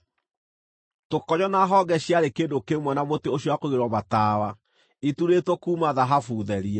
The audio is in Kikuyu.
Tũkonyo na honge ciarĩ kĩndũ kĩmwe na mũtĩ ũcio wa kũigĩrĩrwo matawa, iturĩtwo kuuma thahabu therie.